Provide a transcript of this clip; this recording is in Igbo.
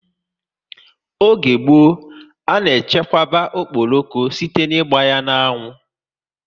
Oge gboo, a na echekwa okporoko site ná ịgba ya n'anwu